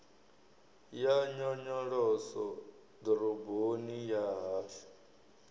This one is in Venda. ya nyonyoloso ḓoroboni ya hashu